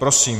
Prosím.